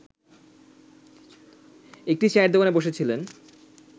একটি চায়ের দোকানে বসেছিলেন